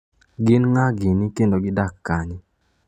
Gin ng’a gini kendo gidak kanye?